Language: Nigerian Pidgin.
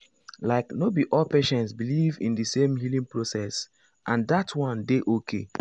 like no be all patients believe in the same healing process and that one dey okay.